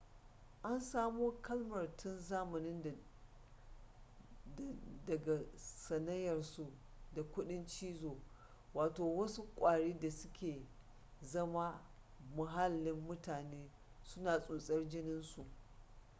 an samo kalmar tun zamanin da daga sanayyarsu da kudin cizo wato wasu kwari da su ke zama muhallin mutane suna tsotsar jininsu